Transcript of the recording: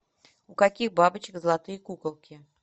у каких бабочек золотые куколки